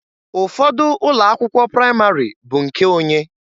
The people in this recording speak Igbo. Ụfọdụ ụlọ akwụkwọ praịmarị bụ nke onye.